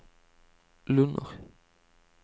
Lunner